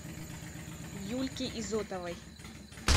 юльке изотовой